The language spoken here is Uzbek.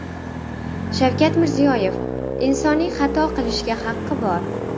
Shavkat Mirziyoyev: Insonning xato qilishga haqi bor .